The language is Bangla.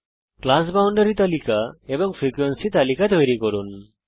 ক্লাস বাউনডারি তালিকা এবং ফ্রিকোয়েন্সি তালিকা তৈরি করুন